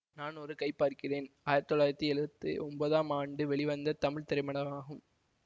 நான் ஒரு கை பார்க்கிறேன் ஆயிரத்தி தொள்ளாயிரத்தி எழுவத்தி ஒன்பதாம் ஆண்டு வெளிவந்த தமிழ் திரைப்படமாகும்